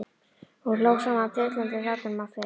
Hún hló sama dillandi hlátrinum og fyrr.